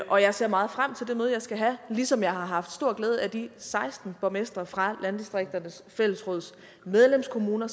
og jeg ser meget frem til det møde jeg skal have ligesom jeg har haft stor glæde af at de seksten borgmestre fra landdistrikternes fællesråds medlemskommuner